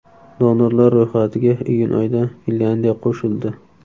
Donorlar ro‘yxatiga iyun oyida Finlyandiya qo‘shildi.